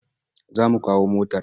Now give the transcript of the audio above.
Za mu kawo motar.